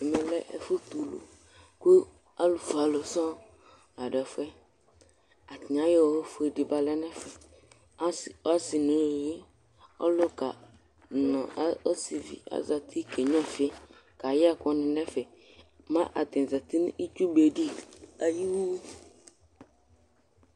Ɛmɛ lɛ ɛfutulu Ku alufue ɔlù sóŋ la ɖu efù yɛ Atani ayɔ owu fue ɖi ba lɛ nu ɛfɛ As asi nu uluʋi, ɔluka nu ɔ ɔsiʋi azã nu ũtí, ke gnuã ɔfi, kayɛ ɛkuni nu ɛfɛ Mɛ atani zãti nu itsúbeɖi ayu iwu